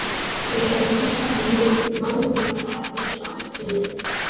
Ég vík nú nánar að þessu atriði.